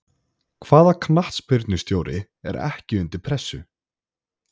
Hvaða knattspyrnustjóri er ekki undir pressu?